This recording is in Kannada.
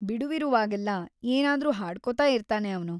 ಬಿಡುವಿರುವಾಗೆಲ್ಲ ಏನಾದ್ರೂ ಹಾಡ್ಕೊತಾ ಇರ್ತಾನೆ ಅವ್ನು.